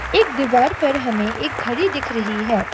एक दीवार पर हमें एक घड़ी दिख रही है।